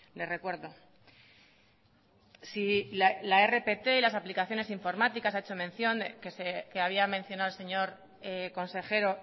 le recuerdo si la rpt las aplicaciones informáticas ha hecho mención que había mencionado el señor consejero